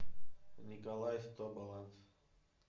николай сто баланс